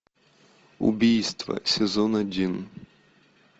убийство сезон один